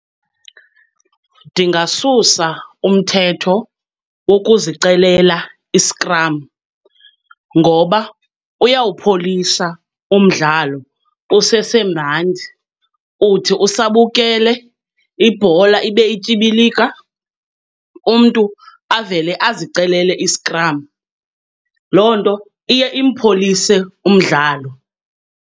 Ndingasusa umthetho wokuzicelela iskram ngoba uyawupholisa umdlalo usesemandi. Uthi usabukele ibhola ibe ityibilika, umntu avele azicelele iskram. Loo nto iye impholise umdlalo.